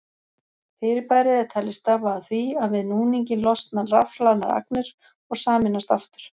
Fyrirbærið er talið stafa af því að við núninginn losna rafhlaðnar agnir og sameinast aftur.